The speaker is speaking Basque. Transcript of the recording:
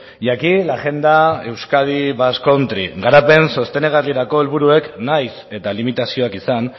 y aquí la agenda euskadi basque country garapen sostengarrirako helburuek nahiz eta limitazioak izan